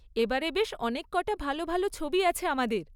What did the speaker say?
এবারে বেশ অনেক কটা ভালো ভালো ছবি আছে আমাদের।